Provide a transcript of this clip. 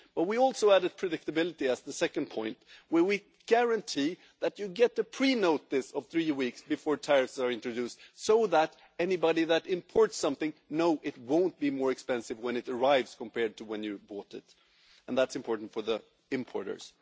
We also added predictability as the second point we guarantee that you get prior notice three weeks before tariffs are introduced, so that anybody that imports something knows it won't be more expensive when it arrives compared to when they bought it, and that's important for importers.